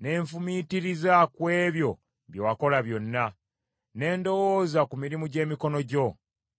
ne nfumiitiriza ku ebyo bye wakola byonna, ne ndowooza ku mirimu gy’emikono gyo.